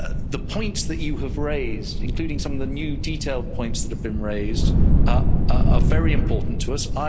The points that you have raised, including some of the new, detailed, points that have been raised, are very important to us.